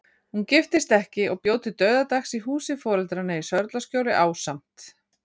Hún giftist ekki og bjó til dauðadags í húsi foreldranna í Sörlaskjóli, ásamt